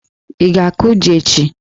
ị ga-akụ jí echi?